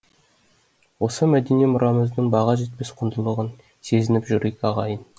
осы мәдени мұрамыздың баға жетпес құндылығын сезініп жүрейік ағайын